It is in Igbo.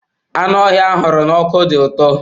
Anụ ọhịa a huru n'ọkụ dị ụtọ.